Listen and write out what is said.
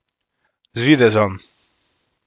Z videzom.